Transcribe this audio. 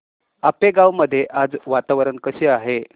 आपेगाव मध्ये आज वातावरण कसे आहे